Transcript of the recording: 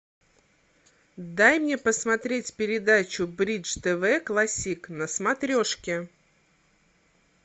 дай мне посмотреть передачу бридж тв классик на смотрешке